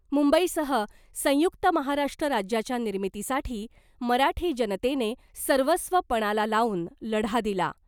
मुंबईसह संयुक्त महाराष्ट्र राज्याच्या निर्मितीसाठी मराठी जनतेने सर्वस्व पणाला लावून लढा दिला .